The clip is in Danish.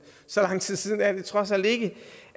så lang tid siden er det trods alt ikke